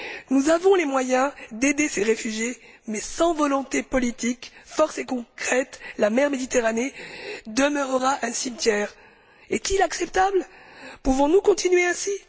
Nous avons les moyens d'aider ces réfugiés, mais sans volonté politique, ni force concrète, la Méditerranée demeurera un cimetière. Est ce acceptable, pouvons nous continuer ainsi?